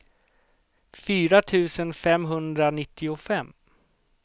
fyra tusen femhundranittiofem